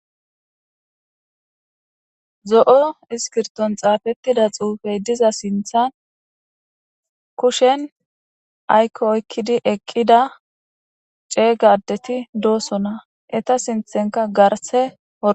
zo'o iskirton xaafettida xuufey diza sinthan kushen aykko oykkidi eqqida ceega adeti doosona eta sinthanka garse